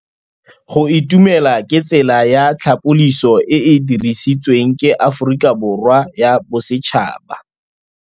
Go itumela ke tsela ya tlhapolisô e e dirisitsweng ke Aforika Borwa ya Bosetšhaba.